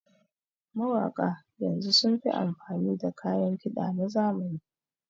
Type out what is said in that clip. Mawaƙa yanzu sun fi amfani da kayan kiɗa na zamani